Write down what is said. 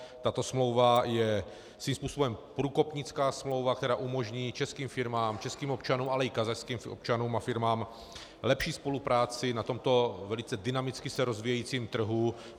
Tato smlouva je svým způsobem průkopnická smlouva, která umožní českým firmám, českým občanům, ale i kazašským občanům a firmám lepší spolupráci na tomto velice dynamicky se rozvíjejícím trhu.